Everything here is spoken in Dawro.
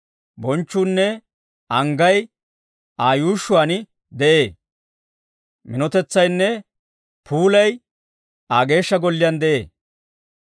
Bonchchuunne anggay Aa yuushshuwaan de'ee; minotetsaynne puulay Aa Geeshsha Golliyaan de'ee.